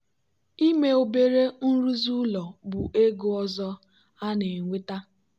ime obere nrụzi ụlọ bụ ego ọzọ a na-enweta.